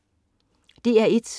DR1: